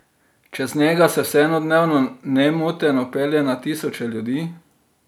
Čez njega se vseeno dnevno nemoteno pelje na tisoče ljudi.